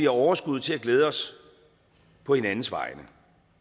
overskud til at glæde os på hinandens vegne